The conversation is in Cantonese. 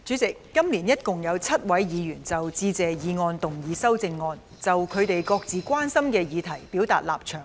主席，今年一共有7位議員就致謝議案動議修正案，就他們各自關心的議題表達立場。